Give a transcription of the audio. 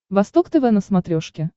восток тв на смотрешке